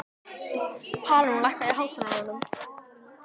Pálrún, lækkaðu í hátalaranum.